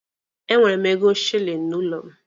E nwere m ego shilini n'ụlọ m.